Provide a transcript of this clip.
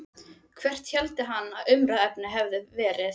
Hvert héldi hann að umræðuefnið hefði verið?